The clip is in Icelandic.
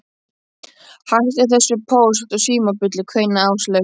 Hættu þessu Póst og Síma bulli kveinaði Áslaug.